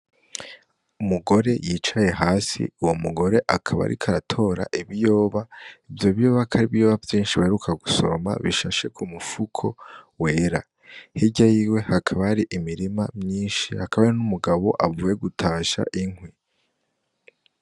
Umugore yicaye hasi uwo mugore akaba ariko aratora ibiyoba ivyo biyoba kari ibiyoba vyishi baheruka gusoroma bishashe ku mufuko wera hirya yiwe hakaba hari imirima myishi hakaba hari n'umugabo avuye gutasha inkwi.